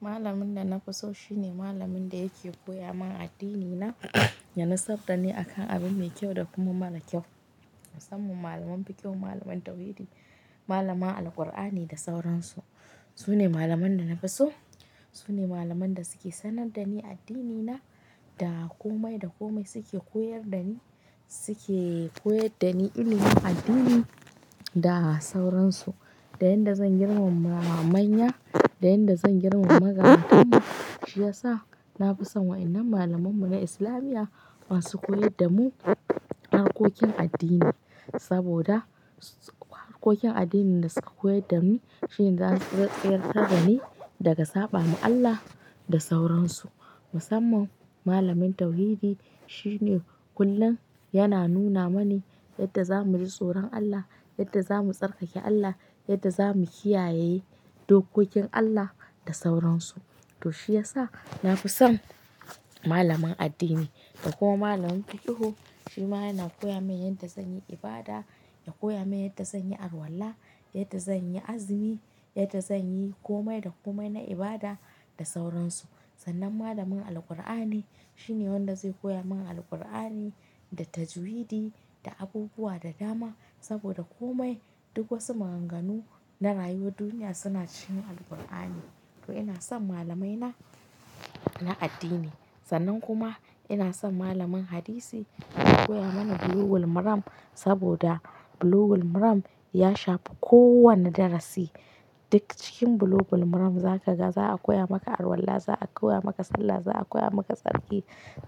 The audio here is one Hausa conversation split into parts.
Malamin da na fi so shine malamin da yake koya man addini na, yana tsaba ne akan abi mai kyau da kuma mara kyau. Musamman malaman baki, malamai tauhidi, malamai Alqur'ani da sauransu. Su ne malaman da na fi so, su ne malaman da suke sanar da ni addini na, da komai da komai suke koyar da ni, suke koyar da ni ilimin addini da sauransu. Da yadda zan girmama manya, da yadda zan girmama mazarantar mu, shi ya sa na fi son waɗannan malamai mu na islamiya, wa su koyar da mu harkokin addini. Saboda su, harkokin addini da suke koyar da mu shine zai tsayarta dani daga saɓa ma Allah da sauransu. Musamman malamin tauhidi shine kullum yana nuna mani yadda za mu ji tsoron Allah, yadda za mu tsarkake Allah, yadda za mu kiyaye dokokin Allah da sauransu. To shi ya sa na fi son malamin addini. Da kuma malamin pikiho, shi ma yana koya min yadda zan yi ibada, ya koya min yadda zan yi arwala, yadda zan yi azumi, yadda zan yi komai da komai na ibada da sauransu. Sannan malamin Alqur'ani shine wanda zai koya mana Alqur'ani da tajwidi da abubuwa da dama. Saboda komai duk wasu maganganu na rayuwar duniya suna cikin Alkur'ani. To ina son malamai na, na addini. Sannan kuma ina son malamin hadisi ya koya mana Bulugul Maram saboda Bulugul Maram ya shafi kowane darasi. Duk cikin Bulugul Maram za ka ga za a koya maka arwala, za a koya maka sallah, za a koya maka tsarki,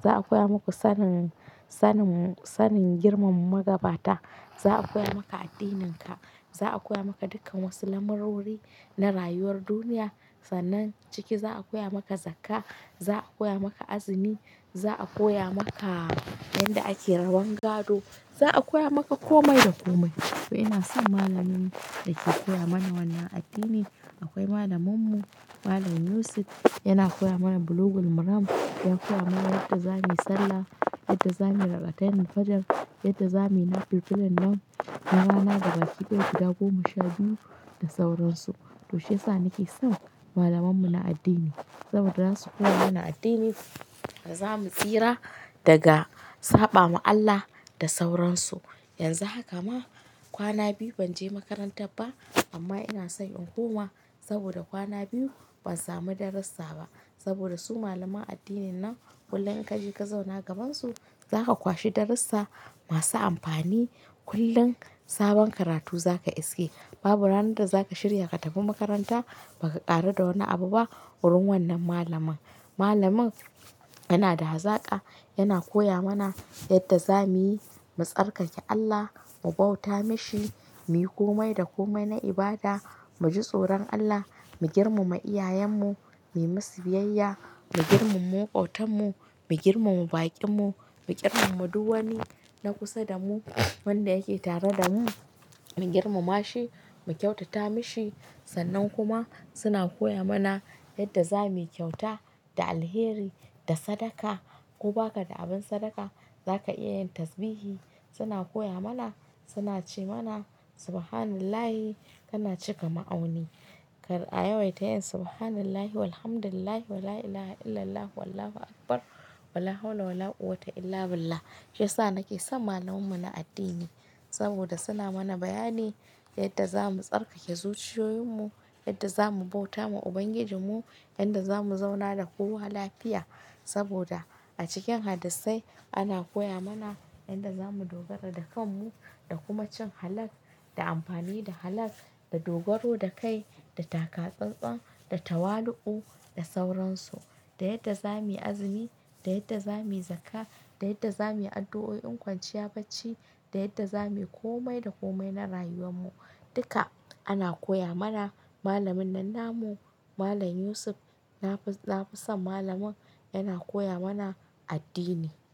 za a koya maku sanin, sanin, sanin girmama magabata. Za a koya maka addininka, za a koya maka dukkan wasu lamurori na rayuwar duniya. Sannan ciki za a koya maka zakka, za a koya maka azumi, za a koya maka yadda ake raban gado, za a koya maka komai da komai. To ina son malamin da ke koya mana wannan addini. Akwai malamin mu, Malam Yusuf, yana koya mana Bulugul Maram, ya koya mana yadda za muyi sallah, yadda za muyi raka'atanil fijr, yadda za muyi na filfilin nan, na rana gaba kiɗaya, guda goma sha biyu da sauransu. To shi ya sa nake son malaman mu na addini saboda za su koya mana addini da za mu tsira daga saɓa ma Allah da sauransu. Yanzu haka ma kwana biyu ban je makaranta ba amma ina son in koma saboda kwana biyu ban samu darussa ba. Saboda su malaman addinin nan kullum in ka je ka zauna gaban su za ka kwashi darussa masu amfani. Kullum sabon karatu za ka iske, babu ranar da za ka shirya ka tafi makaranta ba ka ƙaru da wani abu ba wurin wannan malamin. Malamin yana da hazaka, yana koya mana yadda za muyi mu tsarkake Allah, mu bauta mashi, muyi komai da komai na ibada, mu ji tsoron Allah, mu girmama iyayen mu, mu yi musu biyayya, mu girmama makwabtan mu, mu girmama baƙin mu, mu girmana duk wani na kusa da mu, wanda yake tare da mu, mu girmama shi, mu kyautata mashi. Sannan kuma suna koya mana yadda za mu yi kyauta da alheri, da sadaka. Ko ba ka da abin sadaka za ka iya yin tasbihi. Suna koya mana, suna ce mana "Subhanallahi" kana cika ma'auni. Kar a yawaita yin "Subhanallahi walhamdulillah wa la ila ha illallah wallahu akbar, wala hawla wala quwwata illa billah". Shi ya sa nake son malaman mu na addini saboda suna mana bayani yadda za mu tsarkake zuciyoyin mu, yadda za mu bauta ma Ubangijin mu, yadda za mu zauna da kowa lafiya. Saboda a cikin hadissai ana koya mana yadda za mu dogara da kan mu da kuma cin halak da amfani da halak, da dogaro da kai, da takatsantsan, da tawali'u da sauransu. Da yadda za muyi azumi, da yadda za muyi zakka, da yadda za muyi addu'o'i in kwanciya bacci, da yadda za muyi komai da komai na rayuwar mu, duka ana koya mana. Malamin nan namu, Malam Yusuf, na fi, na fi son malamin yana koya mana addini.